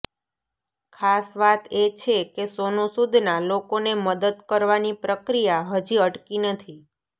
ખાસ વાત એ છે કે સોનુ સૂદના લોકોને મદદ કરવાની પ્રક્રિયા હજી અટકી નથી